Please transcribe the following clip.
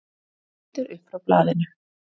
Hann lítur upp frá blaðinu.